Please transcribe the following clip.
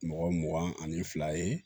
Mɔgɔ mugan ani fila ye